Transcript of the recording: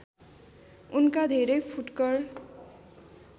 उनका धेरै फुटकर